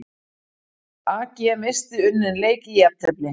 AG missti unninn leik í jafntefli